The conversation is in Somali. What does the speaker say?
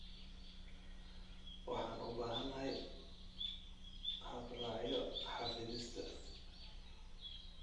Waxaan u baahanahay habraacyo xafidista.